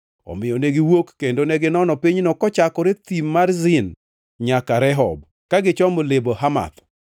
Omiyo ne giwuok kendo neginono pinyno kochakore Thim mar Zin nyaka Rehob, kagichomo Lebo Hamath.